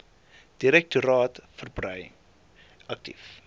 direktoraat verbrei aktief